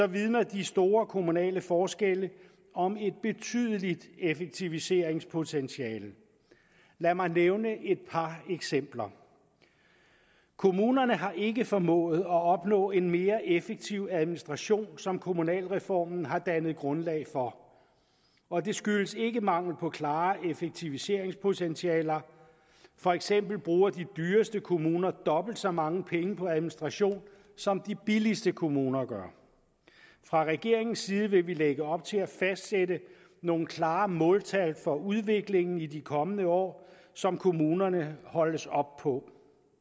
vidner de store kommunale forskelle om et betydeligt effektiviseringspotentiale lad mig nævne et par eksempler kommunerne har ikke formået at opnå en mere effektiv administration som kommunalreformen har dannet grundlag for og det skyldes ikke mangel på klare effektiviseringspotentialer for eksempel bruger de dyreste kommuner dobbelt så mange penge på administration som de billigste kommuner gør fra regeringens side vil vi lægge op til at fastsætte nogle klare måltal for udviklingen i de kommende år som kommunerne holdes op på